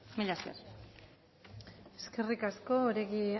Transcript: mila esker eskerrik asko oregi